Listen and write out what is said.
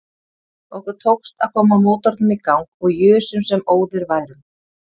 Okkur tókst að koma mótornum í gang og jusum sem óðir værum.